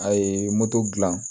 A ye moto dilan